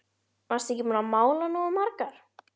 Varstu ekki búin að mála nógu margar?